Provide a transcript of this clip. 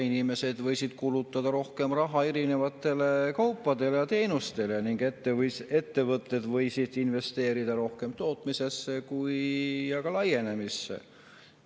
Inimesed võisid rohkem raha kulutada erinevatele kaupadele ja teenustele ning ettevõtted võisid investeerida rohkem nii tootmisesse kui ka laienemisse.